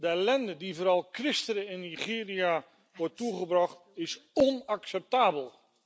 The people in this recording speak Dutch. De ellende die vooral christenen in Nigeria wordt toegebracht is onacceptabel.